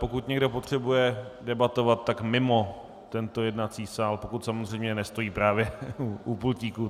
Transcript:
Pokud někdo potřebuje debatovat, tak mimo tento jednací sál, pokud samozřejmě nestojí právě u pultíku.